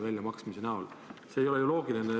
See ei ole ju loogiline.